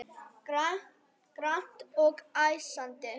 Grannt og æsandi.